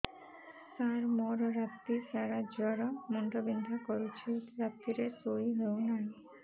ସାର ମୋର ରାତି ସାରା ଜ୍ଵର ମୁଣ୍ଡ ବିନ୍ଧା କରୁଛି ରାତିରେ ଶୋଇ ହେଉ ନାହିଁ